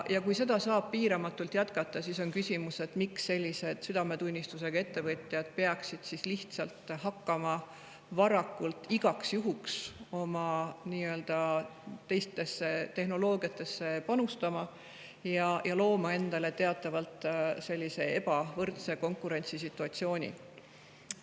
Kui seda saab piiramatult jätkata, siis on küsimus, miks südametunnistusega ettevõtjad peaksid üldse hakkama nii-öelda igaks juhuks teistesse tehnoloogiatesse panustama ja endale teatavat sellist ebavõrdset konkurentsisituatsiooni looma.